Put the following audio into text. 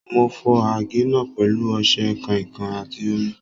Mo fọ àgé náà pẹ̀lú ọṣẹ, kàìnkàìn àti omi.